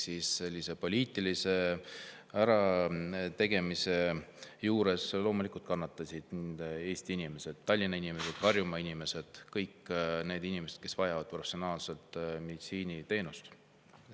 Sellise poliitilise ärategemise tõttu loomulikult kannatasid Eesti inimesed – Tallinna inimesed, Harjumaa inimesed –, kõik need inimesed, kes vajavad professionaalset meditsiiniteenust.